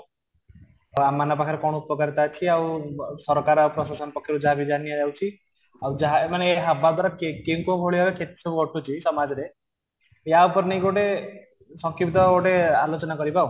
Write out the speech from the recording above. ତ ଆମ ମାନଙ୍କ ପାଖରେ କଣ ଉପକାରିତା ଅଛି ଆଉ ସରକାର ଆଉ ପ୍ରଶାସନ ପକ୍ଷ ରୁ ଯାହା ବି ଯାହା ନିଆ ଯାଉଛି ଆଉ ଯାହା ମାନେ ହବା ଦ୍ୱାରା କେଉଁ କେଉଁ ଭଳିଆ କେତେ ସବୁ ଘଟୁଛି ସମାଜରେ ଏୟା ଉପରେ ନେଇକି ଗୋଟେ ସଂକ୍ଷିପ୍ତ ଗୋଟେ ଆଲୋଚନା କରିବା ଆଉ